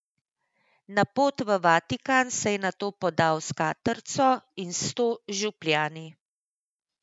Na pot v Vatikan se je nato podal s katrco in sto župljani.